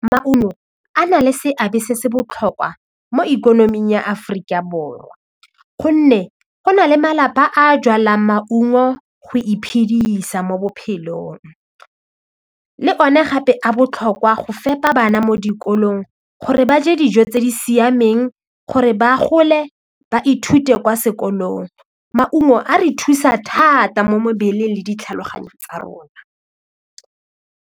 Maungo a na le seabe se se botlhokwa mo ikonoming ya Aforika Borwa gonne go na le malapa a jalang maungo go iphidisa mo bophelong le one gape a botlhokwa go fepa bana mo dikolong gore ba je dijo tse di siameng gore ba gole ba ithute kwa sekolong maungo a re thusa thata mo mebeleng le ditlhaloganyo tsa rona.